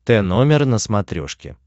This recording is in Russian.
тномер на смотрешке